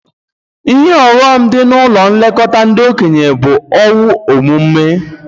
Ihe ọghọm dị na ụlọ nlekọta ndị okenye bụ owu ọmụma